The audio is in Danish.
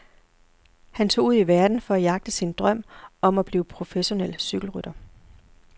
Han tog ud i verden for at jagte sin drøm om at blive professionel cykelrytter.